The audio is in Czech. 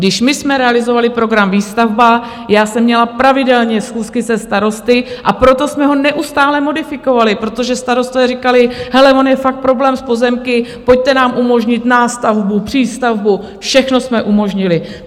Když my jsme realizovali program Výstavba, já jsem měla pravidelně schůzky se starosty, a proto jsme ho neustále modifikovali, protože starostové říkali, hele, on je fakt problém s pozemky, pojďte nám umožnit nástavbu, přístavbu, všechno jsme umožnili.